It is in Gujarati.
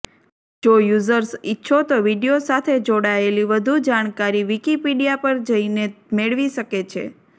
જો યુઝર્સ ઈચ્છો તો વીડિયો સાથે જોડાયેલી વધુ જાણકારી વીકીપિડિયા પર જઈને મેળવી શકે છે